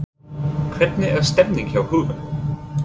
Hvernig er stemningin hjá Huginn?